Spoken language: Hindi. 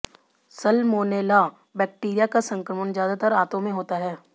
साल्मोनेला बैक्टीरिया का संक्रमण ज्यादातर आंतों में होता है